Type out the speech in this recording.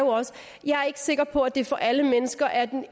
sikker på at det for alle mennesker er